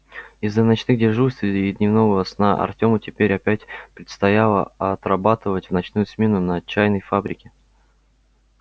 из-за ночных дежурств и дневного сна артёму теперь опять предстояло отрабатывать в ночную смену на чайной фабрике